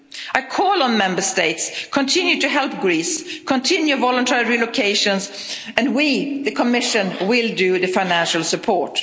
I call on Member States to continue to help Greece, to continue voluntary relocations and we, the Commission, will do the financial support.